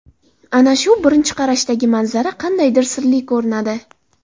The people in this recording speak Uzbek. Ana shu birinchi qarashdagi manzara qadaydir sirli ko‘rinadi.